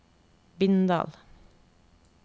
Bindal